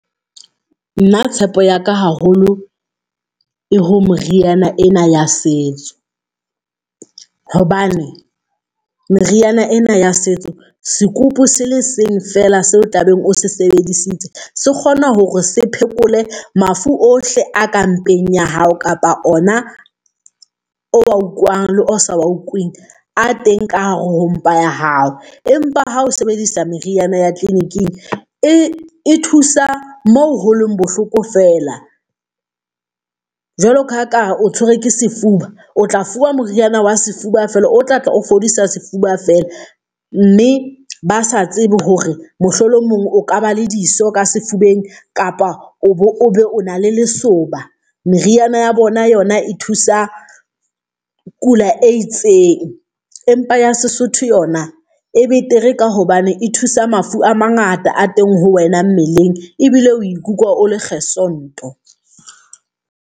Na tshepo ya ka haholo e ho meriana ena ya setso, hobane meriana ena ya setso sekupu sele seng feela seo o tlabeng o se sebedisitse se kgona hore se phekole mafu ohle a ka mpeng ya hao, kapa ona o wa utlwang le o sa wa utlweng a teng ka hare ho mpha ya hao. Empa ha o sebedisa meriana ya clinic-ing e e thusa moo holeng bohloko feela. Jwalo ka ha kare o tshwerwe ke sefuba, o tla fuwa moriana wa sefuba feela o tla tla o fodisa sefuba feela, mme ba sa tsebe hore mohlolomong o ka ba le diso ka sefubeng kapa o be o na le lesoba meriana ya bona yona e thusa kula e itseng, empa ya Sesotho yona e betere, ka hobane e thusa mafu a mangata a teng ho wena mmeleng ebile o ikutlwa o le gesond-o.